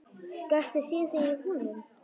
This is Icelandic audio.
Gastu séð þig í honum?